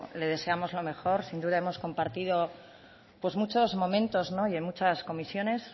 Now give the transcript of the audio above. le deseamos lo mejor sin duda hemos compartido pues muchos momentos y en muchas comisiones